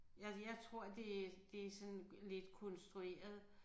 Jeg jeg tror det det sådan lidt konstrueret